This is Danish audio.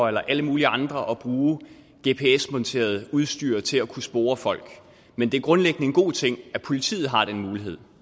eller alle mulige andre at bruge gps monteret udstyr til at kunne spore folk men det er grundlæggende en god ting at politiet har den mulighed